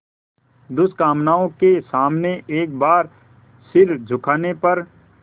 दुष्कामनाओं के सामने एक बार सिर झुकाने पर